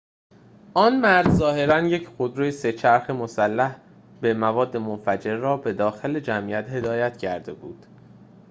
آن مرد ظاهراً یک خودروی سه‌چرخ مسلح به مواد منفجره را به داخل جمعیت هدایت کرده بود